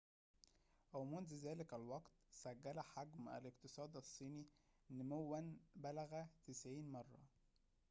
ومنذ ذلك الوقت سجّل حجم الاقتصاد الصيني نمواً بلغ 90 مرة